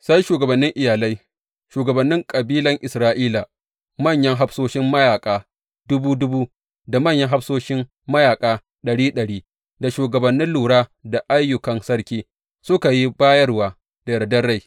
Sai shugabannin iyalai, shugabannin kabilan Isra’ila, manyan hafsoshin mayaƙa dubu dubu da manyan hafsoshi mayaƙa ɗari ɗari, da shugabannin lura da ayyukan sarki suka yi bayarwa da yardar rai.